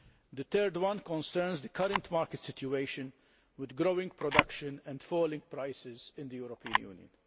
The third concerns the current market situation with growing production and falling prices in the European Union.